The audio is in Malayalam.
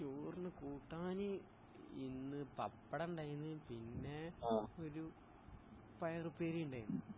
ചോറ്ന് കൂട്ടാന് ഇന്ന് പപ്പടം ഉണ്ടാര്ന്ന് പിന്നെ ഒരു പയർ ഉപ്പേരി ഉണ്ടാര്ന്ന്